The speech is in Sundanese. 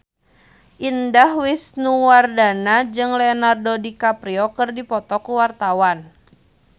Indah Wisnuwardana jeung Leonardo DiCaprio keur dipoto ku wartawan